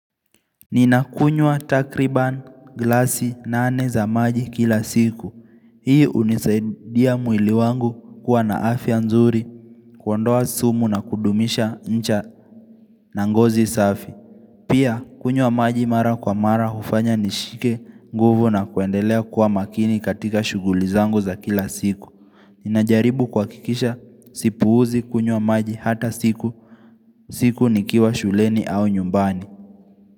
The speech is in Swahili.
Ninakunywa takriban glasi nane za maji kila siku. Hii uunisaidia mwili wangu kuwa na afya nzuri kuondoa sumu na kudumisha ncha na ngozi safi. Pia kunywa maji mara kwa mara hufanya nishike nguvu na kuendelea kuwa makini katika shughuli zangu za kila siku. Ninajaribu kuhakikisha sipuuzi kunywa maji hata siku. Siku nikiwa shuleni au nyumbani.